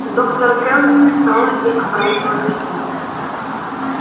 доктор кэлвин встала и оправила костюм